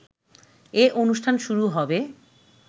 এ অনুষ্ঠান শুরু হবে